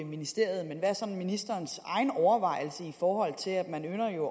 ministeriet men hvad er så ministerens egen overvejelse her i forhold til at man jo